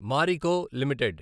Marico limited